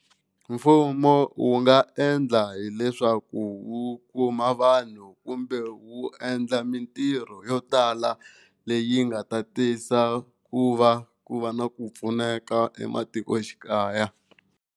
Mfumo wu nga endla hileswaku wu kuma vanhu kumbe wu endla mintirho yo tala leyi nga ta tisa ku va ku va na ku pfuneka ematikoxikaya.